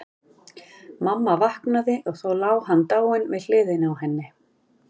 Mamma vaknaði og þá lá hann dáinn við hliðina á henni.